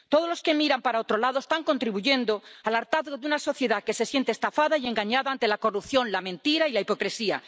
Todos los que miran para otro lado están contribuyendo al hartazgo de una sociedad que se siente estafada y engañada ante la corrupción, la mentira y la hipocresía.